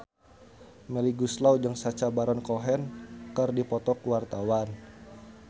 Melly Goeslaw jeung Sacha Baron Cohen keur dipoto ku wartawan